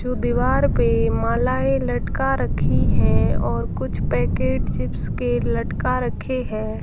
जो दीवार पे मालाएं लटका रखी हैं और कुछ पैकेट चिप्स के लटका रखे हैं।